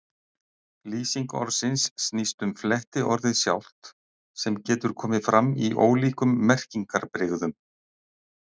Lýsing orðsins snýst um flettiorðið sjálft, sem getur komið fram í ólíkum merkingarbrigðum.